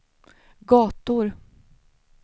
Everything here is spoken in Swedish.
gator